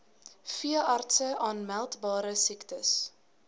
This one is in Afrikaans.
veeartse aanmeldbare siektes